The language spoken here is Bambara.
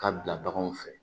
K'a bila baganw fɛ